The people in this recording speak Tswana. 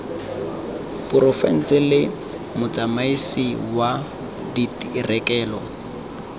porofense le motsamaisi wa direkoto